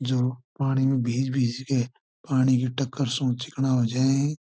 जो पानी में भिज भिज के पानी के टक्कर सो चिकना हो जाये है।